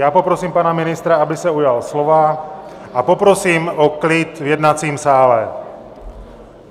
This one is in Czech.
Já poprosím pana ministra, aby se ujal slova, a poprosím o klid v jednacím sále.